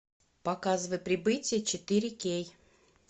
показывай прибытие четыре кей